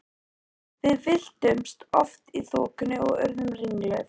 Við villtumst oft í þokunni og urðum ringluð.